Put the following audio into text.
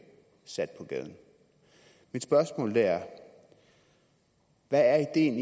sat på gaden mit spørgsmål er hvad er ideen